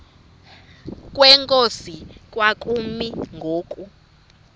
kwenkosi kwakumi ngoku